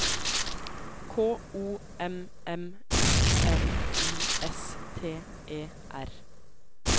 K O M M U N I S T E R